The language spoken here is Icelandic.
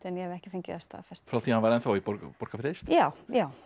ég hef ekki fengið það staðfest frá því hann var ennþá í Borgarfirði eystra já já